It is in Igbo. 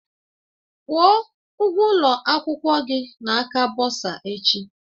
Kwụọ ụgwọ ụlọ akwụkwọ gị na aka bọsa echi!